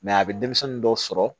a bɛ denmisɛnnin dɔw sɔrɔ